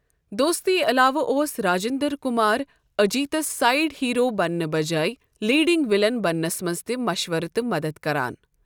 دوستی علاوٕ اوس راجندر کمار اجیٖتَس سایِڈ ہیرو بننہٕ بجایۍ 'لیڈنگ ولن' بننَس منٛز تہِ مشوَرٕ تہٕ مدد کران۔